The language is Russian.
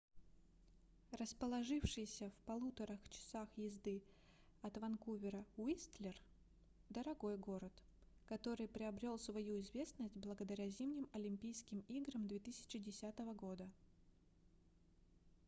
расположившийся в 1,5 часа езды от ванкувера уистлер дорогой город который приобрел свою известность благодаря зимним олимпийским играм 2010 года